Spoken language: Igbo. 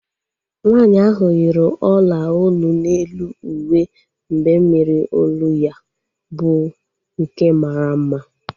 Nwaanyi ahu yiri ọla olu n'elu uwe mbemmiri olu ya bụ nke mara mma